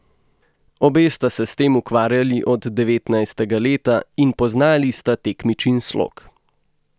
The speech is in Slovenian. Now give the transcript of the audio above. Obe sta se s tem ukvarjali od devetnajstega leta in poznali sta tekmičin slog.